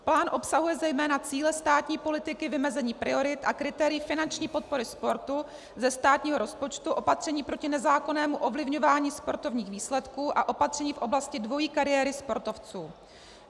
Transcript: Plán obsahuje zejména cíle státní politiky, vymezení priorit a kritérií finanční podpory sportu ze státního rozpočtu, opatření proti nezákonnému ovlivňování sportovních výsledků a opatření v oblasti dvojí kariéry sportovců.